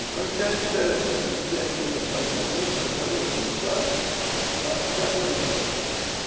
Então quem era interessado na juta fazia tudo para ficar com ela.